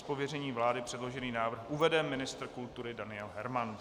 Z pověření vlády předložený návrh uvede ministr kultury Daniel Herman.